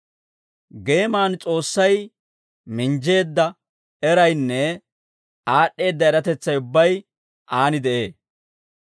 Geeman S'oossay minjjeedda eraynne aad'd'eedda eratetsay ubbay Aan de'ee.